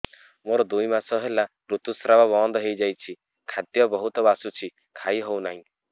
ମୋର ଦୁଇ ମାସ ହେଲା ଋତୁ ସ୍ରାବ ବନ୍ଦ ହେଇଯାଇଛି ଖାଦ୍ୟ ବହୁତ ବାସୁଛି ଖାଇ ହଉ ନାହିଁ